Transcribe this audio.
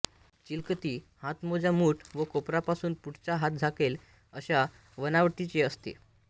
चिलखती हातमोजा मूठ व कोपरापासून पुढचा हात झाकेल अश्या बनावटीचे असते